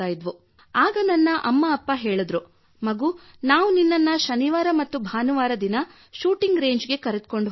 ಆಗ ನನ್ನ ಅಮ್ಮ ಅಪ್ಪ ಮಗೂ ನಾವು ನಿನ್ನನ್ನು ಶನಿವಾರ ಮತ್ತು ಭಾನುವಾರಗಳಂದು ಶೂಟಿಂಗ್ ರೇಂಜ್ ಗೆ ಕರೆದುಕೊಂಡು ಹೋಗುತ್ತೇವೆ